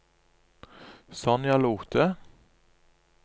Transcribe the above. Sonja Lothe